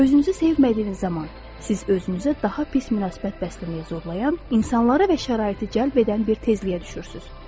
Özünüzü sevmədiyiniz zaman siz özünüzə daha pis münasibət bəsləməyə zorlayan insanlara və şəraiti cəlb edən bir tezliyə düşürsünüz.